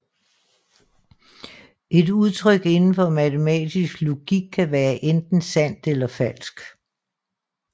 Et udtryk indenfor matematisk logik kan være enten sandt eller falsk